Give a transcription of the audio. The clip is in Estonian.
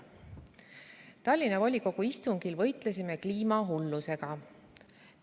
"Eilsel Tallinna volikogu istungil võitlesime kliimahullusega.